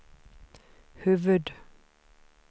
huvud-